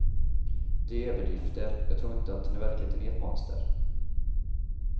Det är överdrifter, jag tror inte att han i verkligheten är ett monster.